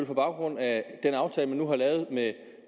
på baggrund af den aftale man nu har lavet med